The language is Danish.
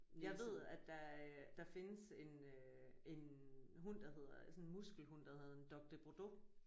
Jeg ved at der øh der findes en øh en hund der hedder sådan en muskelhund der hedder en dogue de bordeaux